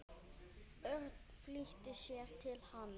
Örn flýtti sér til hans.